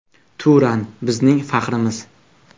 Turan – bizning faxrimiz.